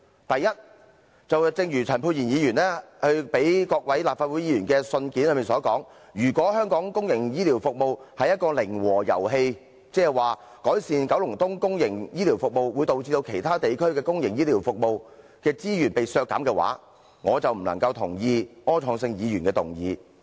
第一，正如陳沛然議員發給各位議員的信件所說，如果香港公營醫療服務是一個零和遊戲，即改善九龍東公營醫療服務，會導致其他地區的公營醫療服務的資源被削減，那我就不能贊同柯創盛議員的議案。